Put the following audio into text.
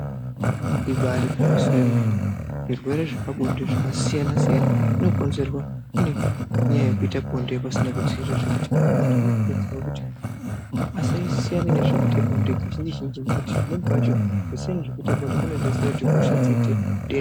Ibari gwinyiso yemene zvirwere zvepabonde zvakasiyana siyana zvinokonzerwa nenyaya yekuita bonde pasina kudzivirira zvekuti vanhu vanokuridzirwa kuti asiyane nezvekuita bonde kazhinji zhinji nekuti pamweni pacho kusiyana nezvekuita bonde zvinodetsera kuti hosha dziite doko